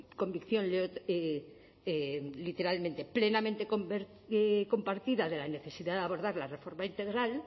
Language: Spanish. convicción literalmente plenamente compartida de la necesidad de abordar la reforma integral